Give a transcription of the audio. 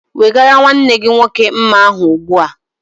Wegara nwanne gị nwoke mma ahụ ugbu a!